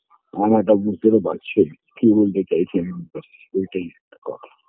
আমার এটা বুঝতে তো পারছি কী বলতে চাইছেন ওইটাই কথা